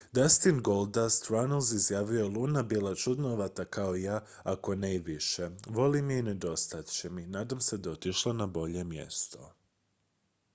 "dustin "goldust" runnells izjavio je "luna bila čudnovata kao i ja ako ne i više... volim je i nedostajat će mi... nadam se da je otišla na bolje mjesto.""